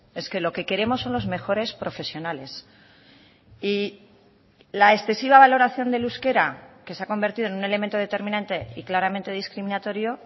es que lo que queremos son los mejores profesionales y la excesiva valoración del euskera que se ha convertido en un elemento determinante y claramente discriminatorio